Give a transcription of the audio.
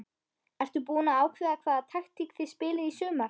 Ertu búinn að ákveða hvaða taktík þið spilið í sumar?